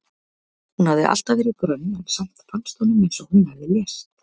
Hún hafði alltaf verið grönn en samt fannst honum eins og hún hefði lést.